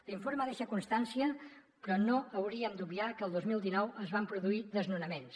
l’informe deixa constància però no hauríem d’obviar que el dos mil dinou es van produir desnonaments